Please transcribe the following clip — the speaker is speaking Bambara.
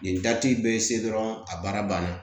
Nin dati bɛ se dɔrɔn a baara banna